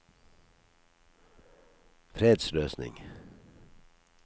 fredsløsning